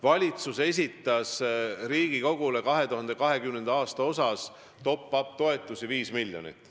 Valitsus esitas Riigikogule ettepaneku maksta 2020. aastal top-up toetusi 5 miljonit.